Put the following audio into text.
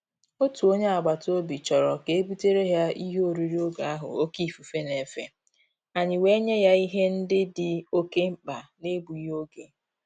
Òtù ónyé ágbàtàòbì chọrọ ka e butere ya ìhè órírí ògè ahụ òké ífùfé na-efe, ànyị́ wèé nyé yá ìhè ndị́ dì òké mkpá n’égbúghị́ ògè.